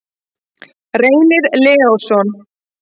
Reynir Leósson.